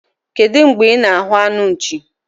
Kedụ mgbe ị na-ahụ anụ nchi?